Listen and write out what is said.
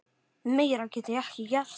Meira get ég ekki gert.